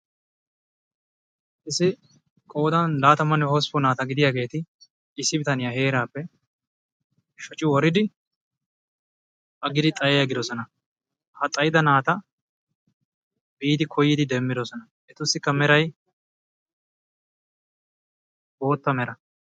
Issi qoodan laatamanne hosppun naataa gidiyageti issi bitaniya heerappe shocci woridi aggidi xayiya aggidosona. Ha xayida naataa biidi koyidi demmidosona. etussikka meray bootta mera.